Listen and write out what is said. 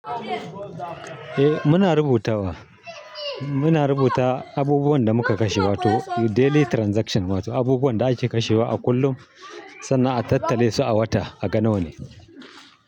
Eh muna rubutawa, muna rubuta abubuwan da muka kashe wato daily transaction wato abubuwan da ake kashewa a kullum sannan a tattale su a wata a gana wa ne.